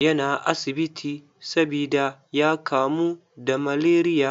Yana asibiti sabida ya kamu da malaria.